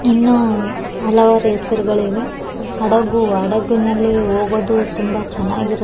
ಇನ್ನು ಹಲವಾರು ಹೆಸರುಗಳಿವೆ. ಹಡಗು ಹಡಗು ನಲ್ಲಿ ಹೋಗೋದು ತುಂಬಾ ಚೆನಾಗಿರು --